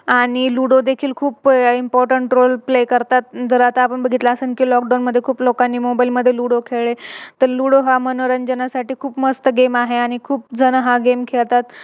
आणि Ludo देखील खूप Importatnt role play करतात. जर आपण बघितले असेल कि Lockdown मध्ये खूप लोकांनी Mobile मध्ये Ludo खेळ Ludo हा मनोरंजना साठी खूप मस्त Game आहे आणि खूप जण हा Game खेळतात.